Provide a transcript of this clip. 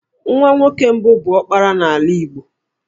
Nwa nwoke mbụ bụ 'ọkpara' n'ala Igbo